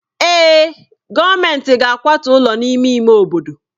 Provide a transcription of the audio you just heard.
Èè, gọọmentị ga-akwatu ụlọ n'ime ime obodo.